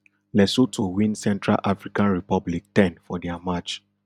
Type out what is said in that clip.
lesotho win central african republic ten for dia match